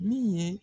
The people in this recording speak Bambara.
Min ye